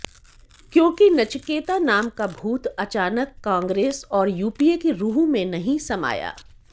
क्योकि नचिकेता नाम का भूत अचानक कांग्रेस और यूपीए की रुह में नहीं समाया